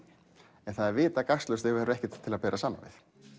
en það er vita gagnslaust ef það ekkert til að bera saman við